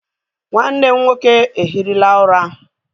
Nwanne m nwoke ehirila ura.